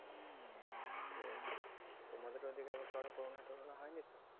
তো তোমাদের ওদিকে আবার কারোও corona torona হয়নি তো?